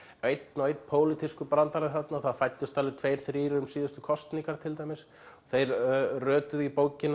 einn og einn pólitískur brandari þarna það fæddust alveg tveir þrír um síðustu kosningar til dæmis þeir rötuðu í bókina